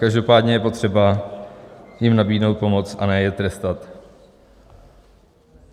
Každopádně je potřeba jim nabídnout pomoc, a ne je trestat.